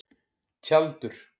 Tjaldur